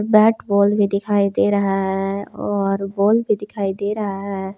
Bat ball भी दिखाई दे रहा है और बॉल भी दिखाई दे रहा है।